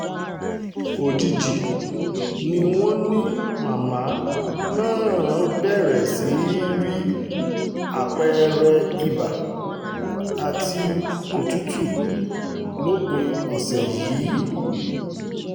òjijì ni wọ́n ní màmá náà bẹ̀rẹ̀ sí í rí àpẹẹrẹ ibà àti òtútù lópin ọ̀sẹ̀ yìí